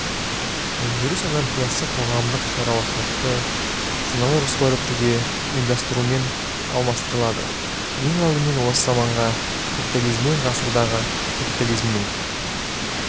өндіріс анархиясы қоғамдық шаруашылықты саналы жоспарлы түрде ұйымдастырумен алмастырылады ең алдымен осы заманғы капитализмнен ғасырдағы капитализмнің